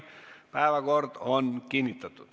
Päevakord on kinnitatud.